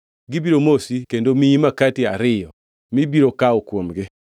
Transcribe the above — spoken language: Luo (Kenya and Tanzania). Gibiro mosi kendo miyi makati ariyo, mibiro kawo kuomgi.